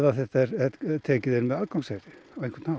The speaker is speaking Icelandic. þetta er tekið inn með aðgangseyri á einhvern hátt